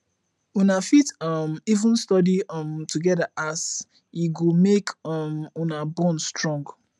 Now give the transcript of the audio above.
una fit um even study um togeda as e go mek um una bond strong